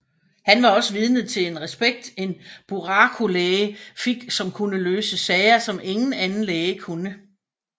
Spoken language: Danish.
Han var også vidne til den respekt en buraku læge fik som kunne løse sager som ingen anden læge kunne